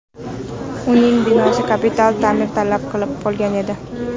Uning binosi kapital ta’mir talab qilib qolgan edi.